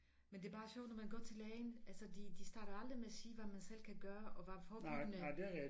Men det bare sjovt når man går til lægen altså de de starter aldrig med at sige hvad man selv kan gøre og hvad forebyggende